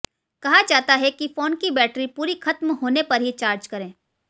कहा जाता है कि फोन की बैटरी पूरी खत्म होने पर ही चार्ज करें